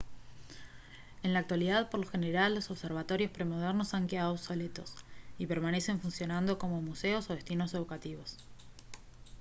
en la actualidad por lo general los observatorios premodernos han quedado obsoletos y permanecen funcionando como museos o destinos educativos